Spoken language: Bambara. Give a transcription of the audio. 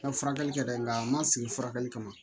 N'a ye furakɛli kɛ dɛ nka a ma sigi furakɛli kama